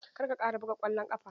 Kar ka ƙara buga ƙwallon ƙafa!